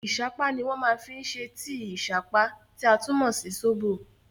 Ìṣápá ni wọ́n máa fi ṣe tíì ìṣápá, tí a tún mọ̀ sí sóbò.